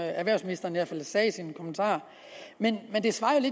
erhvervsministeren sagde i sin kommentar men det svarer